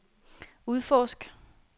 udforsk